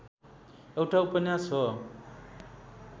एउटा उपन्यास हो